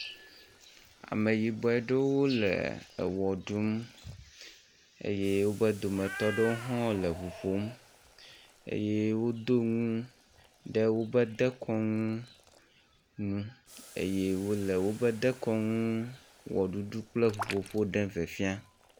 Ameyibɔ ɖewo le ewɔ ɖum eye wobe dometɔ ɖewo hã le eŋu ƒom eye wodo nu ɖe wobe dekɔnu ŋu eye wo le wobe dekɔnu wɔ ɖuɖu kple ŋuƒoƒo ɖem fiafiam.